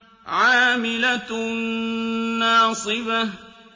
عَامِلَةٌ نَّاصِبَةٌ